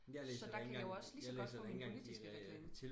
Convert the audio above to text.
så der kan jeg jo også lige så godt få min politiske reklame